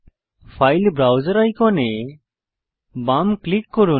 file ব্রাউসের আইকনে বাম ক্লিক করুন